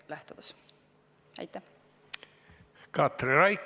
Katri Raik, palun!